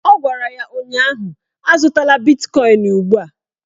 Ọ gwara ya ụnyaahụ "Azụtala bitkọin ugbua"!